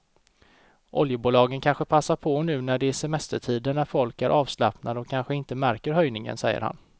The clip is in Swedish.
Oljebolagen kanske passar på nu när det är semestertider när folk är avslappnade och kanske inte märker höjningen, säger han.